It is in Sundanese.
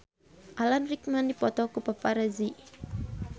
Alan Rickman dipoto ku paparazi